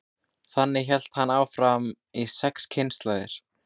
þannig hélt hann áfram í sex kynslóðir